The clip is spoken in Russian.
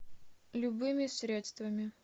любыми средствами